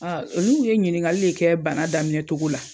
olu ye ɲiniŋali de kɛ bana daminɛ togo la.